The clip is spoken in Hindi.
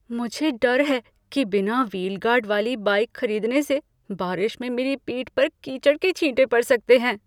मुझे डर है कि बिना व्हील गार्ड वाली बाइक खरीदने से बारिश में मेरी पीठ पर कीचड़ के छींटे पड़ सकते हैं।